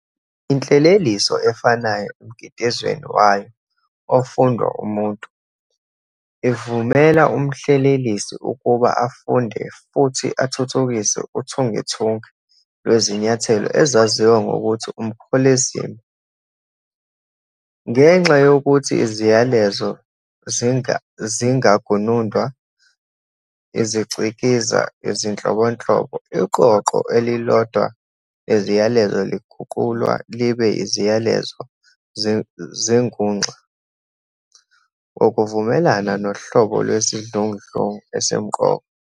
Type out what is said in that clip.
Inhleleliso efanayo emkitizweni wayo ofundwa-umuntu, ivumela umhlelelisi ukuba afunde futhi athuthukise uthungethunge lwezinyathelo ezaziwa ngokuthi umkholezima. Ngenxa yokuthi iziyalezo zingagunundwa izicikizi ezinhlobonhlobo, iqoqo elilodwa leziyalezo liguqulwa libe iziyalezo zenguxa ngokuvumelana nohlobo lwesidludlungi esimqoka.